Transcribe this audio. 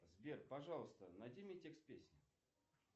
сбер пожалуйста найди мне текст песни